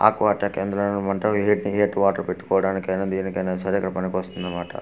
ఆ కోట కేంద్రాలనమంటావ్ ఏటి హీట్ వాటర్ పెట్టుకోడానికైనా దేనికైనా సరే అక్కడ పనికొస్తుందనమాట.